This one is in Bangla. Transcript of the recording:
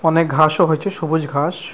অনেক ঘাস ও হয়েছে সবুজ ঘাস।